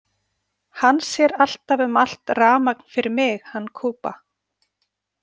Hann sér alltaf um allt rafmagn fyrir mig, hann Kuba.